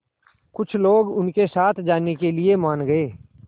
कुछ लोग उनके साथ जाने के लिए मान गए